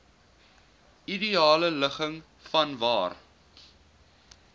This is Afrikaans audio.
ideale ligging vanwaar